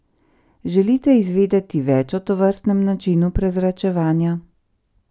Želite izvedeti več o tovrstnem načinu prezračevanja?